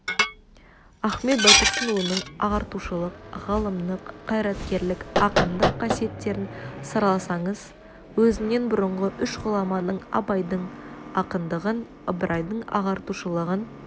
ахмет байтұрсынұлының ағартушылық ғалымдық қайраткерлік ақындық қасиеттерін сараласаңыз өзінен бұрынғы үш ғұламаның абайдың ақындығын ыбырайдың ағартушылығын